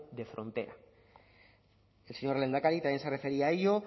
de frontera el señor lehendakari también se refería a ello